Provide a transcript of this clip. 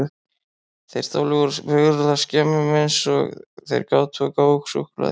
Þeir stálu úr birgðaskemmum eins og þeir gátu og gáfu okkur súkkulaði.